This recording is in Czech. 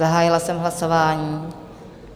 Zahájila jsem hlasování.